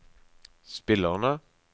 spillerne